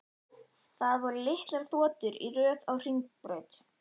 Það voru litlar þotur í röð á hringbraut.